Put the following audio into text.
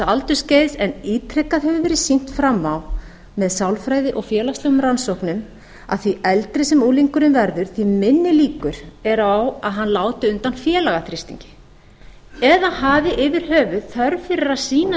aldursskeiðs en ítrekað hefur verið sýnt fram á með sálfræði og félagslegum rannsóknum að því eldri sem unglingurinn verður því minni líkur eru á að hann láti undan félagaþrýstingi eða hafi yfir höfuð þörf fyrir að sýna